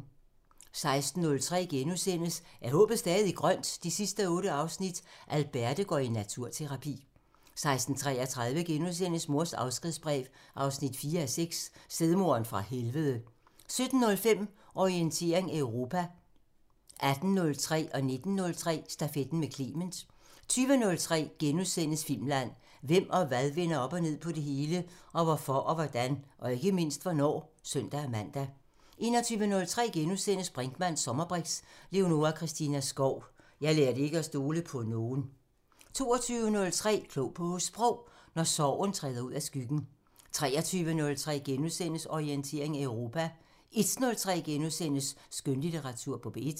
16:03: Er håbet stadig grønt? 8:8 – Alberte går i naturterapi * 16:33: Mors afskedsbrev 4:6 – Stedmoderen fra helvede * 17:05: Orientering Europa 18:03: Stafetten med Clement * 19:03: Stafetten med Clement 20:03: Filmland: Hvem og hvad vender op og ned på det hele? Og hvorfor og hvordan? Og ikke mindst hvornår? *(søn-man) 21:03: Brinkmanns sommerbriks: Leonora Christina Skov – Jeg lærte ikke at stole på nogen * 22:03: Klog på Sprog: Når sorgen træder ud af skyggen 23:03: Orientering Europa * 01:03: Skønlitteratur på P1 *